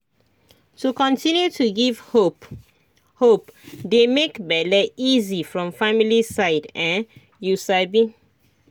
to continue to give hope hope dey make bele easy from family side[um]you sabi